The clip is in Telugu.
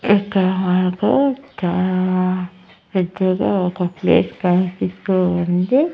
ఇక్కడ మనకు చాలా పెద్దగా ఒక ప్లేస్ కనిపిస్తూ ఉంది.